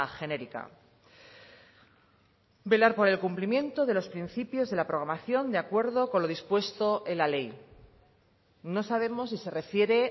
genérica velar por el cumplimiento de los principios de la programación de acuerdo con lo dispuesto en la ley no sabemos si se refiere